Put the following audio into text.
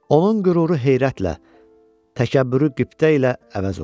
Onun qüruru heyrətlə, təkəbbürü qibtə ilə əvəz olundu.